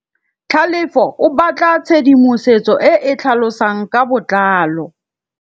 Tlhalefô o batla tshedimosetsô e e tlhalosang ka botlalô.